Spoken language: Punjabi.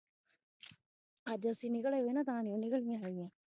ਅਜ ਅਸੀਂ ਨਿਕਲ ਆਈਆਂ ਨਾ ਤਾਂ ਨਹੀਂ ਉਹ ਨਿਕਲਿਆ ਹੈਗੀ ਆਂ